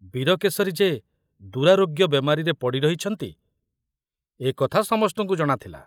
ବୀରକେଶରୀ ଯେ ଦୁରାରୋଗ୍ୟ ବେମାରୀରେ ପଡ଼ି ରହିଛନ୍ତି, ଏକଥା ସମସ୍ତଙ୍କୁ ଜଣାଥିଲା।